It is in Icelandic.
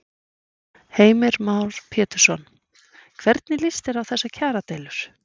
Heimir Már Pétursson: Hvernig lýst þér á þessar kjaradeilur?